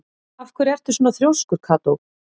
Af hverju ertu svona þrjóskur, Kató?